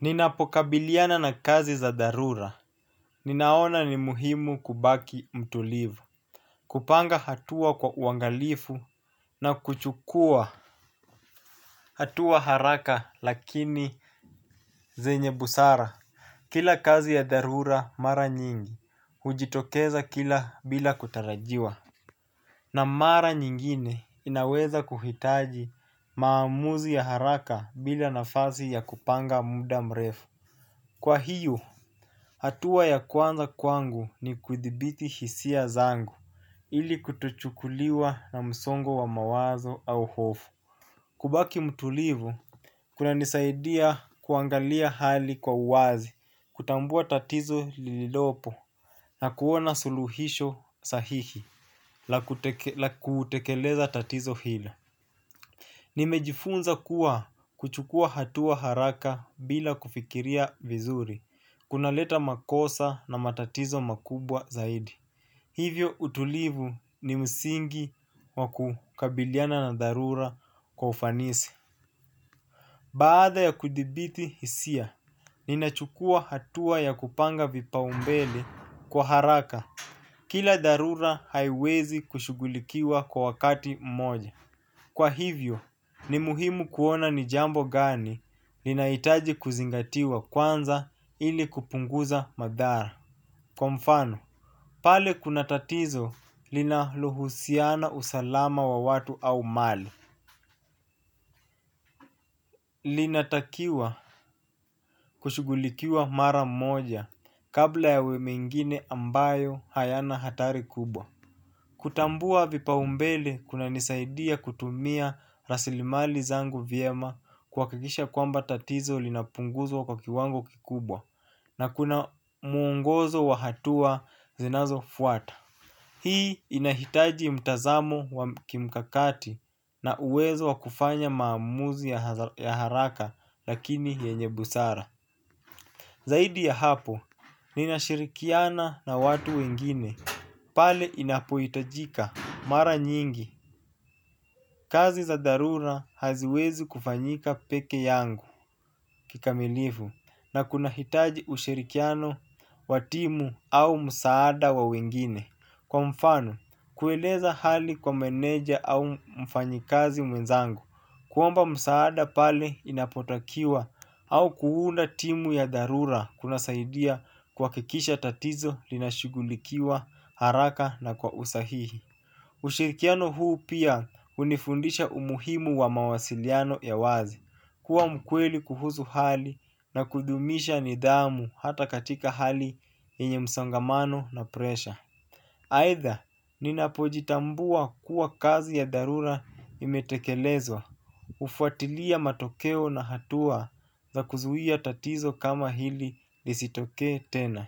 Ninapokabiliana na kazi za dharura ninaona ni muhimu kubaki mtulivu. Kupanga hatua kwa uangalifu na kuchukua hatua haraka lakini zenye busara. Kila kazi ya dharura mara nyingi hujitokeza kila bila kutarajiwa. Na mara nyingine inaweza kuhitaji maamuzi ya haraka bila nafasi ya kupanga muda mrefu. Kwa hiyo hatua ya kwanza kwangu ni kudhibiti hisia zangu, ili kutochukuliwa na msongo wa mawazo au hofu. Kubaki mtulivu, kunanisaidia kuangalia hali kwa uwazi, kutambua tatizo lililopo, na kuona suluhisho sahihi, la kutekeleza tatizo hila. Nimejifunza kuwa kuchukua hatua haraka bila kufikiria vizuri, kunaleta makosa na matatizo makubwa zaidi. Hivyo utulivu ni msingi wa kukabiliana na dharura kwa ufanisi. Baada ya kudhibiti hisia, ninachukua hatua ya kupanga vipaumbele kwa haraka. Kila dharura haiwezi kushughulikiwa kwa wakati mmoja. Kwa hivyo, ni muhimu kuona ni jambo gani linahitaji kuzingatiwa kwanza ili kupunguza madhara. Kwa mfano, pale kuna tatizo linalohusiana usalama wa watu au mali. Linatakiwa kushughulikiwa mara moja kabla ya mengine ambayo hayana hatari kubwa. Kutambua vipaumbele kunanisaidia kutumia rasilimali zangu vyema kuhakikisha kwamba tatizo linapunguzwa kwa kiwango kikubwa na kuna mwongozo wa hatua zinazofuata. Hii inahitaji mtazamo wa kimkakati na uwezo wa kufanya maamuzi ya haraka lakini yenye busara. Zaidi ya hapo, ninashirikiana na watu wengine pale inapohitajika mara nyingi. Kazi za dharura haziwezi kufanyika peke yangu kikamilifu na kunahitaji ushirikiano wa timu au msaada wa wengine. Kwa mfano, kueleza hali kwa meneja au mfanyikazi mwenzangu. Kuomba msaada pale inapotakiwa au kuunda timu ya dharura kunasaidia kuhakikisha tatizo linashugulikiwa haraka na kwa usahihi. Ushirikiano huu pia hunifundisha umuhimu wa mawasiliano ya wazi. Kuwa mkweli kuhusu hali na kudhumisha nidhamu hata katika hali yenye msongamano na presha. Aidha, ninapojitambua kuwa kazi ya dharura imetekelezwa, ufatilia matokeo na hatua za kuzuia tatizo kama hili lisitokee tena.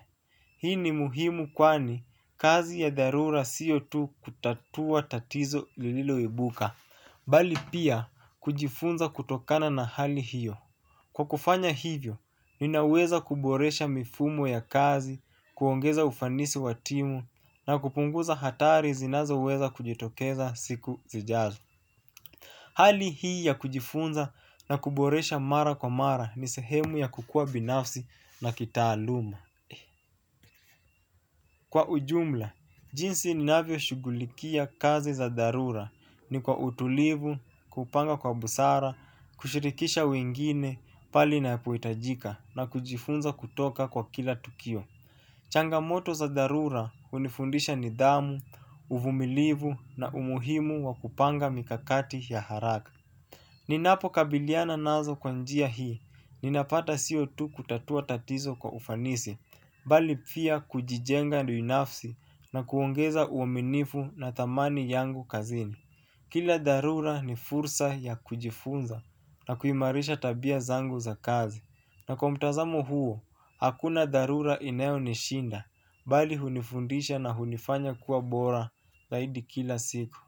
Hii ni muhimu kwani kazi ya dharura siyo tu kutatua tatizo lililoibuka, bali pia kujifunza kutokana na hali hiyo. Kwa kufanya hivyo, ninaweza kuboresha mifumo ya kazi, kuongeza ufanisi wa timu na kupunguza hatari zinazoweza kujitokeza siku zijazo. Hali hii ya kujifunza na kuboresha mara kwa mara ni sehemu ya kukua binafsi na kitaaluma. Kwa ujumla, jinsi ninavyo shughulikia kazi za dharura ni kwa utulivu, kupanga kwa busara, kushirikisha wengine, pale inapohitajika na kujifunza kutoka kwa kila tukio. Changamoto za dharura unifundisha nidhamu, uvumilivu na umuhimu wa kupanga mikakati ya haraka. Ninapokabiliana nazo kwa njia hii, ninapata sio tu kutatua tatizo kwa ufanisi, bali pia kujijenga binafsi na kuongeza uaminifu na thamani yangu kazini. Kila dharura ni fursa ya kujifunza na kuimarisha tabia zangu za kazi. Na kwa mtazamo huo, hakuna dharura inayonishinda, bali hunifundisha na hunifanya kuwa bora zaidi kila siku.